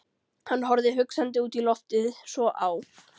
Hann horfði hugsandi út í loftið, svo á